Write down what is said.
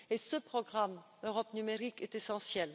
Ce programme Europe numérique est essentiel.